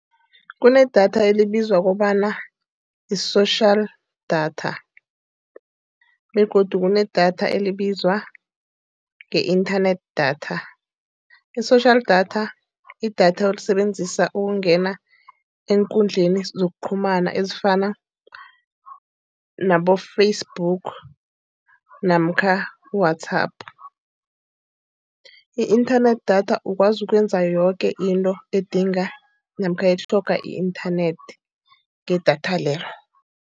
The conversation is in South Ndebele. Kunedatha elibizwa kobana i-social data, begodu kunedatha elibizwa nge-inthanethi idatha. I-social data, idatha olisebenzisa ukungena eenkundleni zokuqhumana ezifana nabo-Facebook namkha i-WhatsApp. I-inthanethi datha ukwazi ukwenza yoke into edinga namkha imitlhoga i-inthanethi ngedatha lelo.